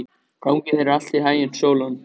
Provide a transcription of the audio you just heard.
Gangi þér allt í haginn, Sólon.